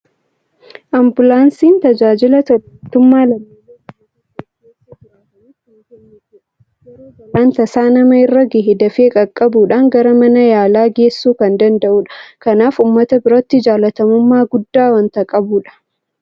Ambulaansiin tajaajila tola ooltummaa lammiilee biyya tokko keessa jiraataniif kan kennitudha. Yeroo balaan tasaa nama irra gahe dafee qaqqabuudhaan gara mana yaalaa geessuu kan danda'udha. Kanaaf uummata biratti jaalatamummaa guddaa waanta qabuudha.